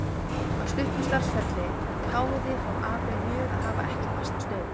Á stuttum starfsferli háði það Abel mjög að hafa ekki fasta stöðu.